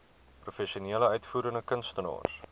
professionele uitvoerende kunstenaars